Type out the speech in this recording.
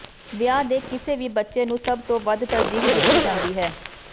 ਵਿਆਹ ਦੇ ਕਿਸੇ ਵੀ ਬੱਚੇ ਨੂੰ ਸਭ ਤੋਂ ਵੱਧ ਤਰਜੀਹ ਦਿੱਤੀ ਜਾਂਦੀ ਹੈ